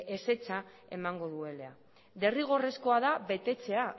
ezetza emango duela derrigorrezkoa da betetzea